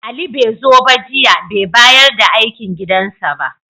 Ali bai zo ba jiya, bai bayar da aikin gidansa ba.